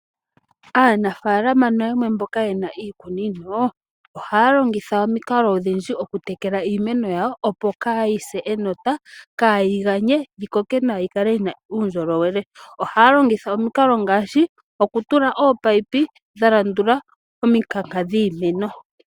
Aanafaalama nayamwe mboka yena iikunino, oha ya longitha omikalo odhindji oku tekela iimeno yawo opo kaa yi se enota, kaayiganye, yikoke nawa yikale yina uundjolowele. Oha ya longitha omikalo ngaashi oku tula ominino dha landula omikanka dhiimeno.